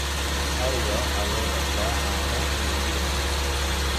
Ariga waxaa loo dhaqdaa caano iyo hilib.